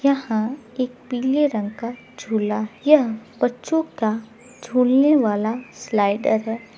यहाँ एक पीले रंग का झूला यह बच्चो का झूलने वाला स्लाइडर है।